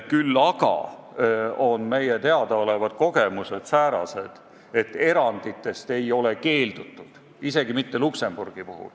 Küll aga on meile teadaolevad kogemused säärased, et eranditest ei ole keeldutud, isegi mitte Luksemburgi puhul.